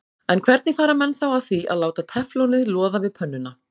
En hvernig fara menn þá að því að láta teflonið loða við pönnuna?